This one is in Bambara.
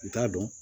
N t'a dɔn